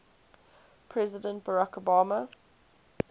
president barack obama